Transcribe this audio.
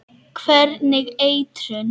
Hvernig eitrun?